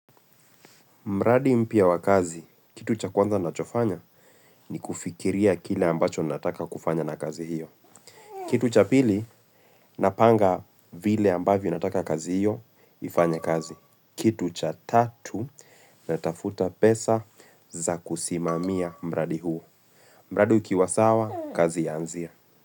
Mradi mpia wakazi, kitu cha kwanza nachofanya ni kufikiria kile ambacho nataka kufanya na kazi hiyo. Kitu cha pili, napanga vile ambavo nataka kazi hiyo, ifanye kazi. Kitu cha tatu, natafuta pesa za kusimamia mradi huo. Mradi ukiwa sawa, kazi yanzia.